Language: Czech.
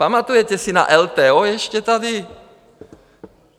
Pamatujete si na LTO ještě tady?